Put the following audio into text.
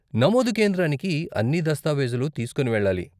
నమోదు కేంద్రానికి అన్ని దస్తావేజులు తీస్కోని వెళ్ళాలి.